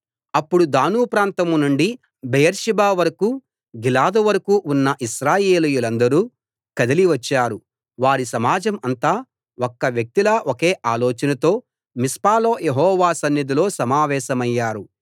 అప్పుడు దాను ప్రాంతం నుండి బెయేర్షెబా వరకూ గిలాదు వరకూ ఉన్న ఇశ్రాయేలీయులందరూ కదలి వచ్చారు వారి సమాజం అంతా ఒక్క వ్యక్తిలా ఒకే ఆలోచనతో మిస్పాలో యెహోవా సన్నిధిలో సమావేశమయ్యారు